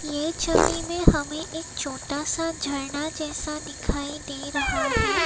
ये छवि में हमें एक छोटा सा झरना जैसा दिखाई दे रहा है।